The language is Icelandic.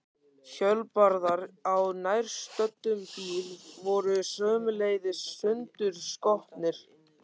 Hjólbarðar á nærstöddum bíl voru sömuleiðis sundurskotnir.